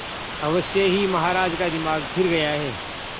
अवश्य ही महाराज का दिमाग फिर गया है